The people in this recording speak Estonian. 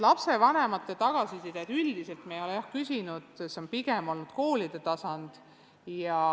Lapsevanematelt tagasisidet me üldiselt ei ole, jah, küsinud, see on pigem olnud koolide tasand.